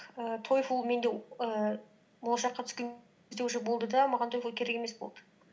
ііі тойфул менде ііі болашаққа түскен уже болды да маған тойфул керек емес болды